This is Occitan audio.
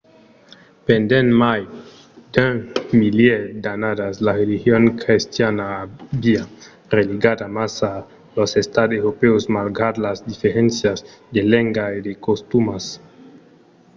pendent mai d’un milièr d’annadas la religion crestiana aviá religat amassa los estats europèus malgrat las diferéncias de lenga e de costumas. i